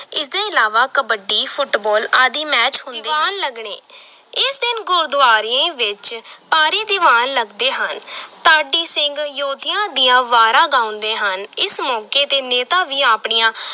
ਇਸਦੇ ਇਲਾਵਾ ਕਬੱਡੀ ਫੁਟਬਾਲ ਆਦਿ match ਹੁੰਦੇ, ਦੀਵਾਨ ਲੱਗਣੇ ਇਸ ਦਿਨ ਗੁਰਦੁਆਰੇ ਵਿਚ ਭਾਰੀ ਦੀਵਾਨ ਲਗਦੇ ਹਨ ਢਾਡੀ ਸਿੰਘ ਯੋਧਿਆਂ ਦੀਆਂ ਵਾਰਾਂ ਗਾਉਂਦੇ ਹਨ, ਇਸ ਮੌਕੇ ਤੇ ਨੇਤਾ ਵੀ ਆਪਣੀਆਂ